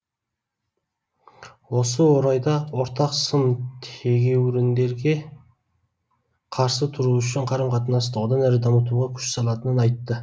осы орайда ортақ сын тегеуіріндерге қарсы тұру үшін қарым қатынасты одан әрі дамытуға күш салатынын айтты